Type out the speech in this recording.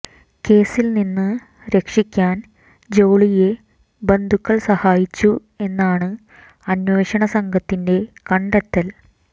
കേസിൽ നിന്ന് രക്ഷിക്കാൻ ജോളിയെ ബന്ധുകൾ സഹായിച്ചു എന്നാണ് അന്വേഷണ സംഘത്തിന്റെ കണ്ടെത്തൽ